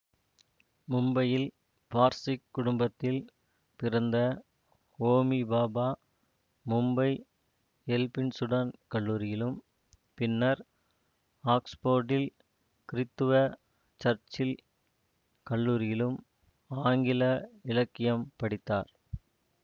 மும்பையில் பார்சிக் குடும்பத்தில் பிறந்த ஓமி பாபா மும்பை எல்பின்சுடன் கல்லூரியிலும் பின்னர் ஆக்சுபோர்டில் கிறித்தவ சர்ச்சில் கல்லூரியிலும் ஆங்கில இலக்கியம் படித்தார்